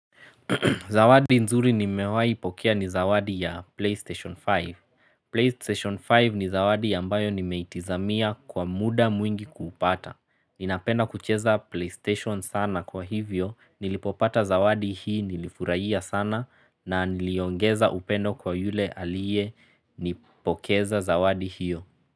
Zawadi nzuri nimewahi pokea ni zawadi ya PlayStation 5. PlayStation 5 ni zawadi yambayo nimeitizamia kwa muda mwingi kupata. Ninapenda kucheza PlayStation sana kwa hivyo, nilipopata zawadi hii nilifurahia sana na niliongeza upendo kwa yule aliyenipokeza zawadi hiyo.